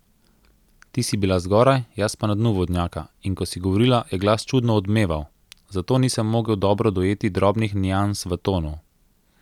Ti si bila zgoraj, jaz pa na dnu vodnjaka, in ko si govorila, je glas čudno odmeval, zato nisem mogel dobro dojeti drobnih nians v tonu.